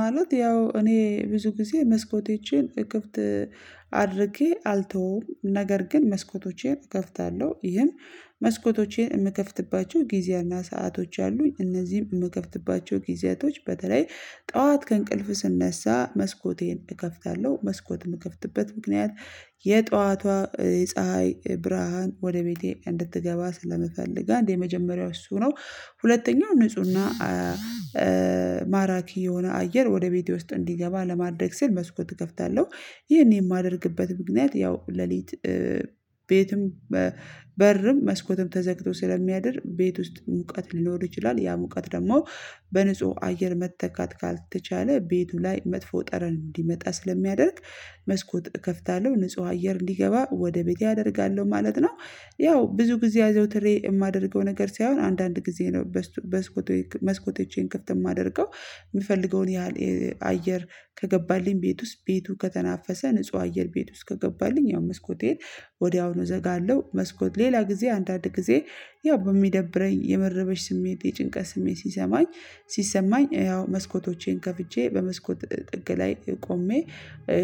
ማለት ያው እኔ ብዙ ጊዜ መስኮቶቼን ክፍት አድርጌ አልተውም ነገር ግን መስኮቶቼን እከፍታለሁ ይህም መስኮቶቼን የምከፍትባቸው ጊዜያና ሰአቶች አሉ እነዚህም የምከፍትባቸው ጊዜያቶች በተለይ ጠዋት ከእንቅልፍ ስነሳ መስኮቴን እከፍታለሁ መስኮት የምከፍትበት ምክንያት የጠዋቷ የፀሀይ ብርሃን ወደ ቤቴ እንድትገባ ስለምፈልግ አንድ የመጀመሪያው እሱ ነው። ሁለተኛው ንፁህና ንፁህና ማራኪ የሆነ አየር ወደ ቤቴ ውስጥ እንዲገባ ለማድረግ ስል መስኮት እክፍታለሁ። ይሄን የማደርግበት ምክንያት ያው ሌሊት ቤትም በርም መስኮትም ተዘግቶ ስለሚያደር ቤት ውስጥ ሙቀት ሊኖር ይችላል ያ ሙቀት ደግሞ በንጹህ አየር መተካት ካልተቻለ ቤቱ ላይ መጥፎ ጠረን እንዲመጣ ስለሚያደርግ መስኮት እከፍታለሁ ንጹህ አየር እንዲገባ ወደ ቤቴ አደርጋለሁ ማለት ነው። ያው ብዙ ጊዜ አዘውትሬ የማደርገው ነገር ሳይሆን አንዳንድ ጊዜ ነው በስቱ መስኮ መስኮቶቼን ክፍት እማደርገው የምፈልገውን ያህል አየር ከገባልኝ ቤት ውስጥ ቤቱ ከተናፈሰ ንጹህ አየር ቤት ውስጥ ከገባልኝ ያው መስኮቴን ወዲያውኑ እዘጋለሁ። መስኮት ሌላ ጊዜ አንዳንድ ጊዜ ያው በሚደብረኝ የመረበሽ ስሜት የጭንቀት ስሜት ሲሰማኝ ሲሰማኝ ያው መስኮቶቼን ከፍቼ በመስኮት ጥግ ላይ ቆሜ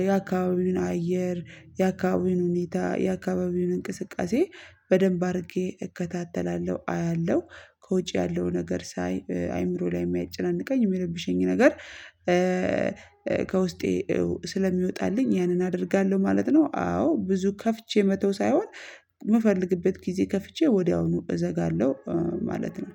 የአካባቢውን አየር የአካባቢውን ሁኔታ የአካባቢውን እንቅስቃሴ በደንብ አድርጌ እከታተላለሁ አያለሁ። ከውጭ ያለው ነገር ሳይ አእምሮ ላይ የሚያጨናንቀኝ የሚረብሸኝ ነገር ከውስጤ ስለሚወጣልኝ ያንን አደርጋለሁ ማለት ነው። አዎ ብዙ ከፍቼ መተው ሳይሆን የምፈልግበት ጊዜ ከፍቼ ወዲያውኑ እዘጋለሁ ማለት ነው